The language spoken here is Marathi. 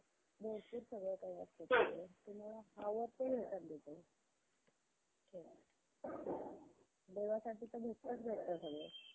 बसायचं. घरी~ घरातून बाहेर कुठेच जायचं नाही. ते म्हणजे lockdown तर हा Lockdown चा फरक सगळ्यात मोठा म्हणजे, industery वर